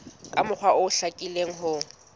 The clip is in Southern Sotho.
ka mokgwa o hlakileng ho